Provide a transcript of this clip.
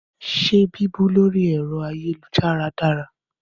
Ṣé bíbú lórí ẹ̀rọ ayélujára dára?